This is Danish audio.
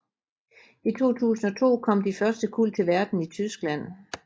I 2002 kom de første kuld til verden i Tyskland